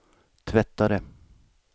tvättare